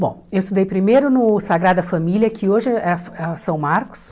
Bom, eu estudei primeiro no Sagrada Família, que hoje é é São Marcos.